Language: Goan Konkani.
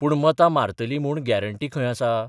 पूण मतां मारतली म्हूण ग्यारांटी खंय आसा?